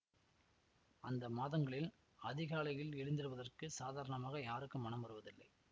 அந்த மாதங்களில் அதிகாலையில் எழுந்திருவதற்குச் சாதாரணமாய் யாருக்கும் மனம் வருவதில்லை